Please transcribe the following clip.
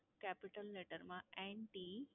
capital letter માં N T.